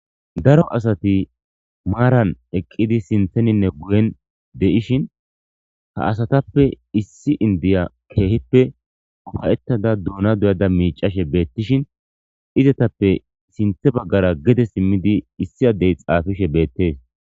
Daro asati maaran eqqidi sintheninne guyen de'ishin ha asatappe issi indiya keehippe ufayettada duuna duyada miicashe beettishin izetappe sinthe baggara gede simmidi issi addey xaafishe beettees.